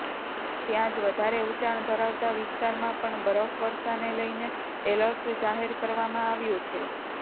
ત્યાંજ વધારે ઉંચાણ ધરાવતા વિસ્તારમાં પણ બરફવર્સાને લઈને એલર્ટ જાહેર કરવામાં આવ્યુ છે